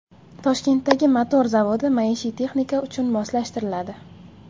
Toshkentdagi motor zavodi maishiy texnika uchun moslashtiriladi.